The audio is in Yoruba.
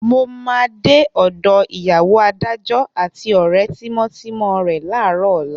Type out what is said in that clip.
Mo máa dé ọ̀dọ ìyàwó adájọ́ àti ọ̀rẹ́ tímọ́tímọ́ rẹ láàárọ̀ ọ̀la.